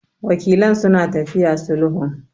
Wakilan suna tafiya sulhun.